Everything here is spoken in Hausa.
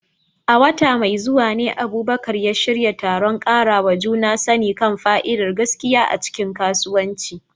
A wata mai zuwa ne Abubakar ya shirya taron ƙarawa juna sani kan fa'idar gaskiya a cikin kasuwanci.